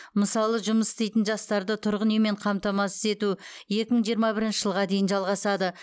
мысалы жұмыс істейтін жастарды тұрғын үймен қамтамасыз ету екі мың жиырма бірінші жылға дейін жалғасады